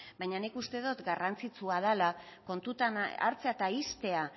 baina nik uste dut garrantzitsua dela kontutan hartzea eta uztea